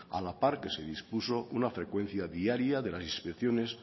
a la par que se dispuso una frecuencia diaria de las inspecciones